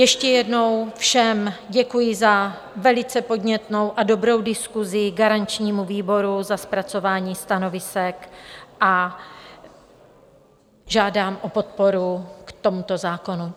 Ještě jednou všem děkuji za velice podnětnou a dobrou diskusi, garančnímu výboru za zpracování stanovisek a žádám o podporu k tomuto zákonu.